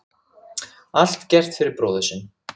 Allt gert fyrir bróðir sinn.